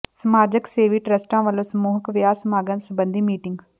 ਸਮਾਜ ਸੇਵੀ ਟਰੱਸਟਾਂ ਵਲੋਂ ਸਮੂਹਿਕ ਵਿਆਹ ਸਮਾਗਮ ਸਬੰਧੀ ਮੀਟਿੰਗ